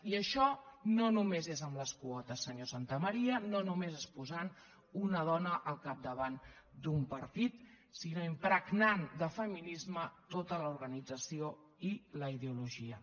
i això no només és amb les quotes senyor santamaría no només és posant una dona al capdavant d’un partit sinó impregnant de feminisme tota l’organització i la ideologia